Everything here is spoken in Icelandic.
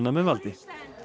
með valdi